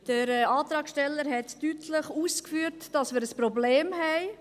Der Antragsteller hat deutlich ausgeführt, dass wir ein Problem haben.